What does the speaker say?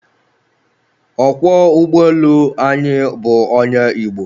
Ọkwọ ụgbọelu anyị bụ onye Igbo